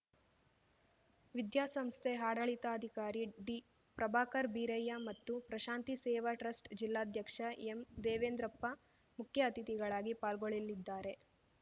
ವಿದ್ಯಾಸಂಸ್ಥೆ ಆಡಳಿತಾಧಿಕಾರಿ ಡಿ ಪ್ರಭಾಕರ್ ಬೀರಯ್ಯ ಮತ್ತು ಪ್ರಶಾಂತಿ ಸೇವಾ ಟ್ರಸ್ಟ್‌ ಜಿಲ್ಲಾಧ್ಯಕ್ಷ ಎಂ ದೇವೇಂದ್ರಪ್ಪ ಮುಖ್ಯ ಅತಿಥಿಗಳಾಗಿ ಪಾಲ್ಗೊಳ್ಳಲಿದ್ದಾರೆ